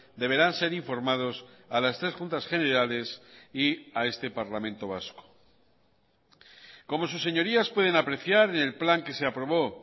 deberán ser informados a las tres juntas generales y a este parlamento vasco como sus señorías pueden apreciar en el plan que se aprobó